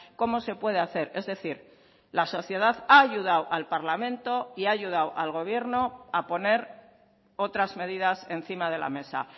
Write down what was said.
cómo se puede hacer es decir la sociedad ha ayudado al parlamento y ha ayudado al gobierno a poner otras medidas encima de la mesa